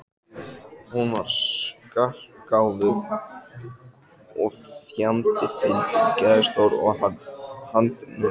Hún var skarpgáfuð og fjandi fyndin, geðstór og handnett.